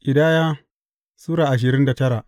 Ƙidaya Sura ashirin da tara